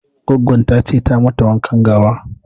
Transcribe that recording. Goggon ta ce ta mata wanka gawa.